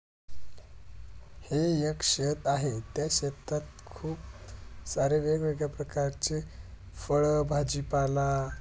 हे एक शेत आहे. त्या शेतात खूप सारे वेग वेगळे प्रकारचे फळ भाजी पाला--